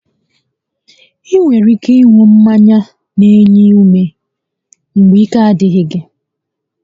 Ị nwere ike ịṅụ mmanya n'enye ume mgbe ike a dịghị gị